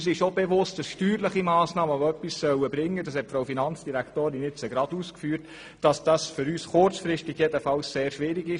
Uns ist auch bewusst, dass steuerliche Massnahmen, die etwas bringen sollen – die Finanzdirektorin hat es eben ausgeführt –, kurzfristig sehr schwierig sind.